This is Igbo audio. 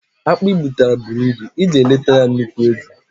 Akpụ i butara bụrụ ịbụ, ị ga eleta ya nnukwu ego